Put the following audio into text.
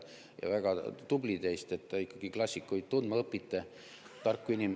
Ja väga tubli teist, et te ikkagi klassikuid tundma õpite.